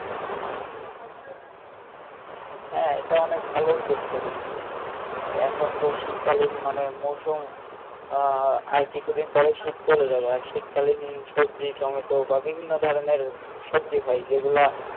হ্যাঁ এটা অনেক ভালো উদ্দ্যেগ তো দেখছি এখন তো শীত কালীন মানে মৌসুম আহ আর কিছু দিন পরে শীত চলে যাবে আর শীত কালীন সবজি টমেটো বা বিভিন্ন ধরনের সবজি হয় যে গুলা